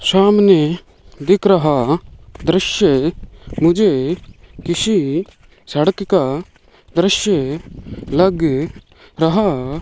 सामने दिख रहा दृश्य मुझे किसी सड़क का दृश्य लग रहा --